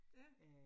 Ja